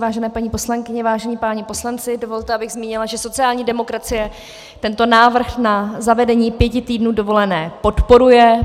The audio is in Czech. Vážené paní poslankyně, vážení páni poslanci, dovolte, abych zmínila, že sociální demokracie tento návrh na zavedení pěti týdnů dovolené podporuje.